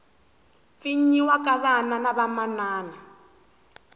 pfinyiwa ka vana na vamana